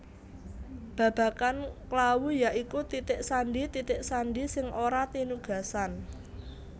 Babagan klawu ya iku titik sandi titik sandi sing ora tinugasan